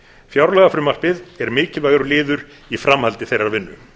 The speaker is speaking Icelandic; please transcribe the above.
fjárlagafrumvarpið er mikilvægur liður í framhaldi þeirrar vinnu